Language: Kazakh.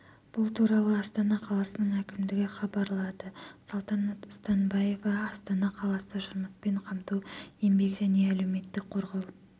бұл туралы астана қаласының әкімдігі хабарлады салтанат станбаева астана қаласы жұмыспен қамту еңбек және әлеуметтік қорғау